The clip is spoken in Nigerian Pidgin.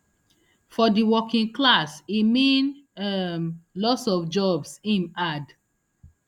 for di working class e mean um loss of jobs im add